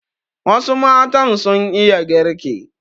Wasu matan sun iya girki.